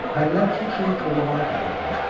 Pərilər çox şey korlamağa qadirdilər.